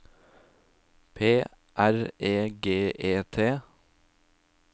P R E G E T